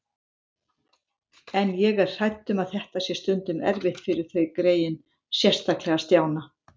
En ég er hrædd um að þetta sé stundum erfitt fyrir þau greyin, sérstaklega Stjána